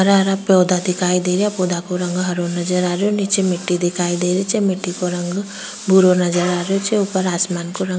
हरा हरा पौधा दिखाई दे रहा पौधो का रंग हरा नजर आ रहेया निचे मिटटी दिखाई दे रही छे मिटटी को रंग भूरो नजर आ रही छे ऊपर आसमान का रंग --